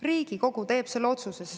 Riigikogu teeb selle otsuse.